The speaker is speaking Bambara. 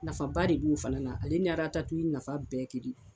Nafaba de de b'u fana la, ale ni ratatuwi nafa bɛɛ ye kelen ye.